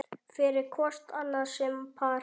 fyrir hvort annað sem par